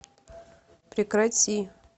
прекрати